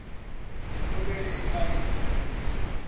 komele iqale ibhaliswe